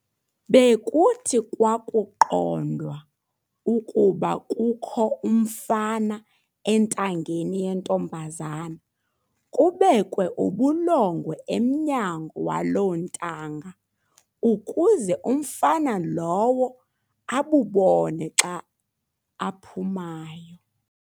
Bekuthi kwakuqondwa ukuba kukho umfana enangeni yentombazana kubekwe ubulongwe emnyango walo ntanga ukuze umfana lowo abubone xa aphumayo.